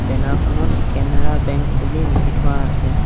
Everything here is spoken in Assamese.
বেনৰ খনত কেনেড়া বেঙ্ক বুলি লিখি থোৱা আছে।